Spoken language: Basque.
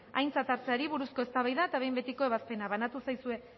aintzat hartzeari buruzko eztabaida eta behin betiko ebazpena banatu zaizuen